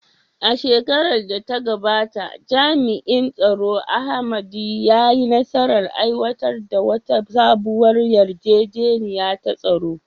A shekarar da ta gabata, jami’in tsaro Amadi, ya yi nasarar aiwatar da wata sabuwar yarjejeniya ta tsaro.